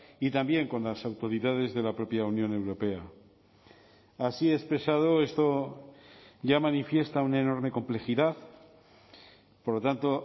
y también con las autoridades de la propia unión europea así expresado esto ya manifiesta una enorme complejidad por lo tanto